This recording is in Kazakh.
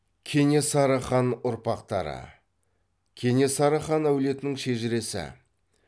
кенесары хан ұрпақтары кенесары хан әулетінің шежіресі